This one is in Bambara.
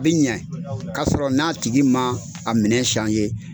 Bi ɲɛ 'a sɔrɔ n'a tigi ma a minɛ .